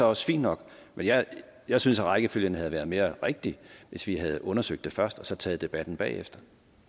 også fint nok men jeg jeg synes at rækkefølgen havde været mere rigtig hvis vi havde undersøgt det først og taget debatten bagefter